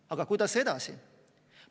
Aga kuidas edasi?